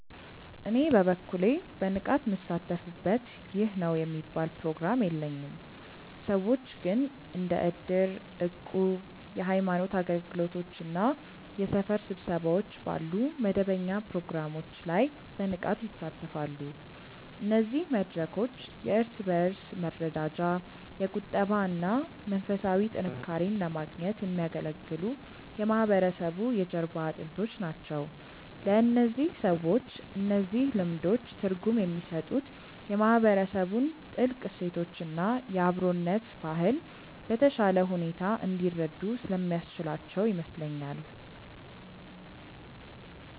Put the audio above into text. እኔ በበኩሌ በንቃት ምሳተፍበት ይህ ነው የሚባል ፕሮግራም የለኝም። ሰዎች ግን እንደ እድር፣ እቁብ፣ የሃይማኖት አገልግሎቶች እና የሰፈር ስብሰባዎች ባሉ መደበኛ ፕሮግራሞች ላይ በንቃት ይሳተፋሉ። እነዚህ መድረኮች የእርስ በእርስ መረዳጃ፣ የቁጠባ እና መንፈሳዊ ጥንካሬን ለማግኘት የሚያገለግሉ የማህበረሰቡ የጀርባ አጥንቶች ናቸው። ለእነዚህ ሰዎች እነዚህ ልምዶች ትርጉም የሚሰጡት የማህበረሰቡን ጥልቅ እሴቶች እና የአብሮነት ባህል በተሻለ ሁኔታ እንዲረዱ ስለሚያስችላቸው ይመስለኛል።